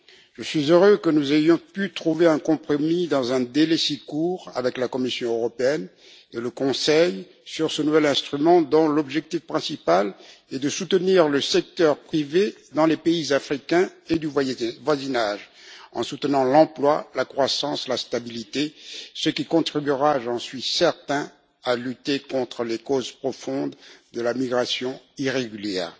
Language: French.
Je suis heureux que nous ayons pu trouver un compromis dans un délai si court avec la Commission et le Conseil sur ce nouvel instrument, dont l'objectif principal est d'aider le secteur privé dans les pays africains et du voisinage oriental, en soutenant l'emploi, la croissance et la stabilité, ce qui contribuera j'en suis certain à lutter contre les causes profondes de la migration irrégulière.